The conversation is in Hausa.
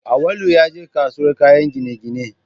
Awwalu ya je kasuwar kayan gine-gine